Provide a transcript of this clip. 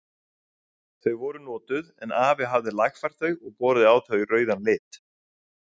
Þau voru notuð en afi hafði lagfært þau og borið á þau rauðan lit.